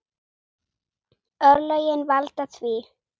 Örlögin valda því.